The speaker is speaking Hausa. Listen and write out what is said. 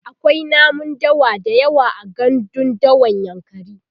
akwai namun dawa da yawa a gandun dawan yankari